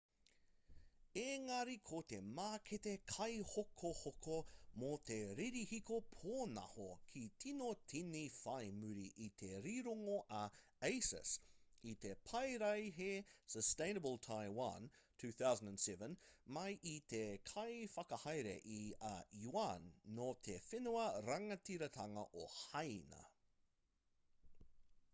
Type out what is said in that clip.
ēngari ko te mākete kaihokohoko mō te ririhiko pōnaho ka tīno tīni whai muri i te rironga a asus i te paraihe sustainable taiwan 2007 mai i te kaiwhakahaere i a yuan nō te whenua rangatiratanga o hāina